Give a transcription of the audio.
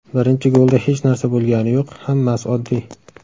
Birinchi golda hech narsa bo‘lgani yo‘q, hammasi oddiy.